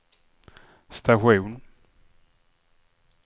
station